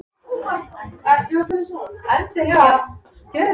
Leitum að hinni uppreisnargjörnu listamannslund, sem Ólafur